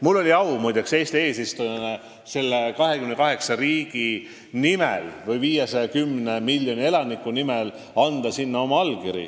Mul oli Eesti kui eesistujamaa esindajana au sinna 28 riigi ehk 510 miljoni elaniku nimel oma allkiri panna.